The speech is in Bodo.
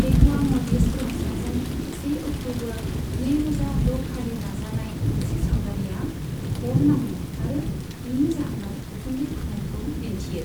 एक'वा म'डिज ग्रहसाजों से अक्टूबर, नैरोजा द'खालि लाजानाय मोनसे सावगारिआ अर नांनाय आरो बिनि जाहोनाव उखुन्दै खुनायखौ दिन्थियो।